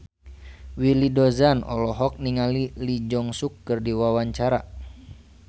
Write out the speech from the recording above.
Willy Dozan olohok ningali Lee Jeong Suk keur diwawancara